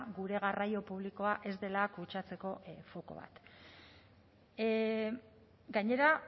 gure garraio publikoa ez dela kutsatzeko foko bat gainera